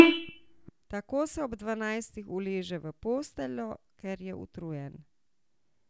Tako se ob dvanajstih uleže v posteljo, ker je utrujen.